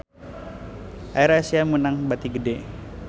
AirAsia meunang bati gede